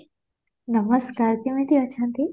ନମସ୍କାର କେମିତି ଅଛନ୍ତି?